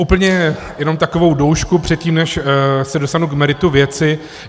Úplně jenom takovou doušku předtím, než se dostanu k meritu věci.